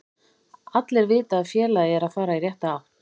Allir vita að félagið er að fara í rétta átt.